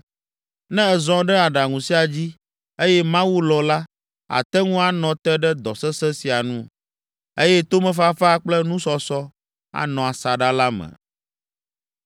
Ne èzɔ ɖe aɖaŋu sia dzi, eye Mawu lɔ̃ la, àte ŋu anɔ te ɖe dɔ sesẽ sia nu, eye tomefafa kple nusɔsɔ anɔ asaɖa la me.”